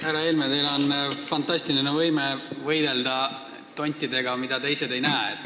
Härra Helme, teil on fantastiline võime võidelda tontidega, mida teised ei näe.